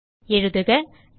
எழுதுக nested1